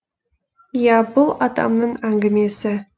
иә бұл атамның әңгімесі